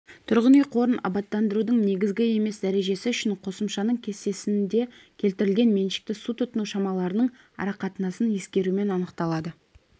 тұрғын үй қорын абаттандырудың негізгі емес дәрежесі үшін қосымшаның кестесінде келтірілген меншікті су тұтыну шамаларының арақатынастарын ескерумен анықталады